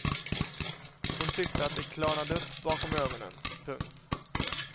Hon tyckte att det klarnade upp bakom ögonen. punkt